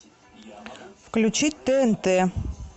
включить тнт